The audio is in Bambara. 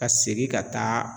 Ka segin ka taa